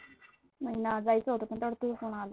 मला नाचायचं होतं पण तेवढ्यात तुझा फोन आला.